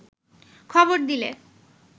খবর দিলে